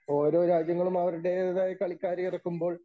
ഓരോ രാജ്യങ്ങളും അവരുടേതായ കളിക്കാരെ ഇറക്കുമ്പോൾ